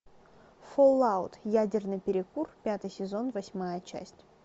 фоллаут ядерный перекур пятый сезон восьмая часть